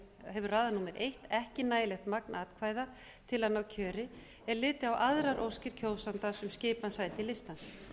hefur raðað númer eitt ekki nægilegt magn atkvæða til að ná kjöri er litið á aðrar óskir kjósandans um skipan sæti listans